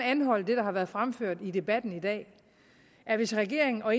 anholde det der har været fremført i debatten i dag at hvis regeringen og